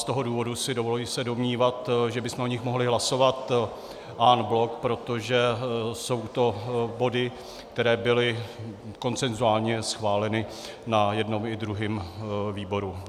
Z toho důvodu si dovoluji se domnívat, že bychom o nich mohli hlasovat en bloc, protože jsou to body, které byly konsenzuálně schváleny na jednom i druhém výboru.